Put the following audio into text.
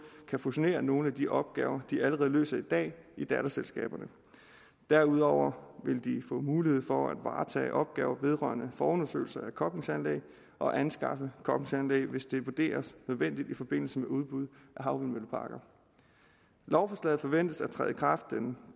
kan fusionere nogle af de opgaver de allerede løser i dag i datterselskaberne derudover vil de få mulighed for at varetage opgaver vedrørende forundersøgelser af koblingsanlæg og anskaffe koblingsanlæg hvis det vurderes nødvendigt i forbindelse med udbud af havvindmølleparker lovforslaget forventes at træde i kraft den